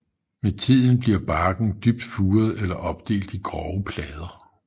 Med tiden bliver barken dybt furet eller opdelt i grove plader